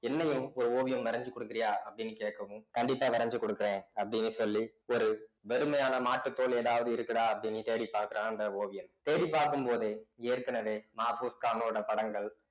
என்னையும் ஒரு ஓவியம் வரைஞ்சு கொடுக்குறியா அப்படின்னு கேட்கவும் கண்டிப்பா வரைஞ்சு கொடுக்கிறேன் அப்படின்னு சொல்லி ஒரு வெறுமையான மாட்டுத் தோல் ஏதாவது இருக்குதா அப்படின்னு தேடி பார்க்கிறான் அந்த ஓவியன் தேடிப் பார்க்கும் போதே ஏற்கனவே மாபோஸ்கானோட படங்கள்